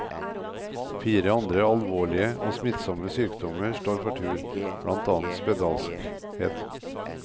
Fire andre alvorlige og smittsomme sykdommer står for tur, blant annet spedalskhet.